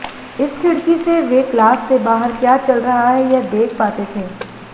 इस खिड़की से वे क्लास से बाहर क्या चल रहा है यह देख पाते थे